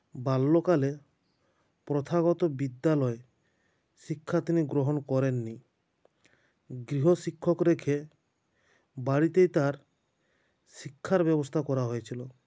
বাল্যকালে প্রথাগত বিদ্যালয়ে শিক্ষা তিনি গ্রহণ করেন নি গৃহশিক্ষক রেখে বাড়িতেই তাঁর শিক্ষার ব্যবস্থা করা হয়েছিল